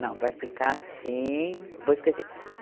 Não, vai ficar assim, vou esquecer.